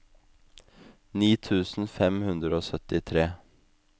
ni tusen fem hundre og syttitre